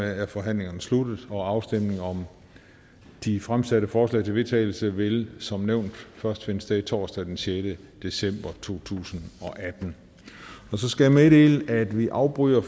er forhandlingen sluttet afstemning om de fremsatte forslag til vedtagelse vil som nævnt først finde sted torsdag den sjette december to tusind og atten så skal jeg meddele at vi afbryder